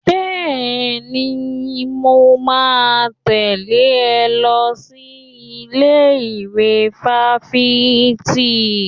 Bẹ́ẹ̀ni, mo máa tẹ̀lé ọ lọ sí ilé ìwé fáfitì